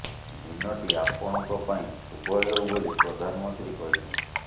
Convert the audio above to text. ଦିନଟି ଆପଣଙ୍କ ପାଇଁ ଶୁଭ ହେଉ ବୋଲି ପ୍ରଧାନମନ୍ତ୍ରୀ କହିଛନ୍ତି